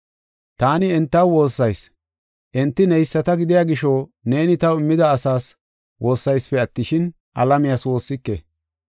“Taani entaw woossayis. Enti neyisata gidiya gisho neeni taw immida asaas woossaysipe attishin, alamiyas woossike.